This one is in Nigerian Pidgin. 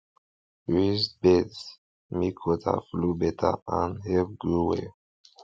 raised beds make water flow beta and help grow well